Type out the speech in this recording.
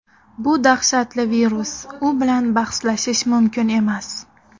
Bu dahshatli virus, u bilan bahslashish mumkin emas.